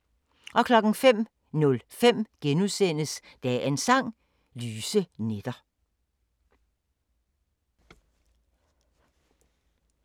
05:05: Dagens Sang: Lyse nætter *